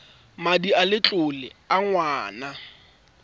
madi a letlole a ngwana